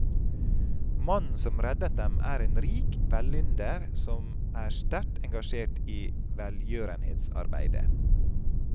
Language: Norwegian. Mannen som reddet dem er en rik velynder som er sterkt engasjert i velgjørenhetsarbeide.